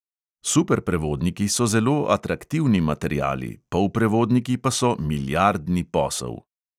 Superprevodniki so zelo atraktivni materiali, polprevodniki pa so milijardni posel.